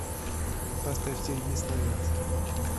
поставь сергей славянский